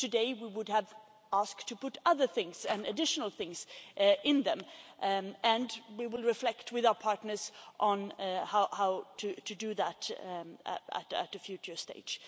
Today, we would have asked to put other things and additional things in them and we will reflect with our partners on how to do that at a future stage.